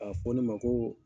A fɔ ne ma ko